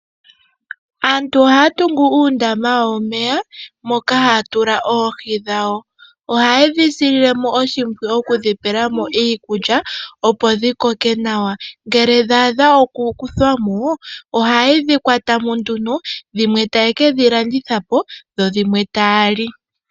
Aantu ohaa tungu uundama womeya, moka haa tula oohi dhawo. Oha ye dhi silile mo oshimpwiyu, oku dhi pela mo iilkulya, opo dhi koke nawa. Ngele dha adha oku kuthwa mo, oha ye dhi kwata mo nduno, dhimwe taye ke dhi landitha po, dho dhimwe taa li.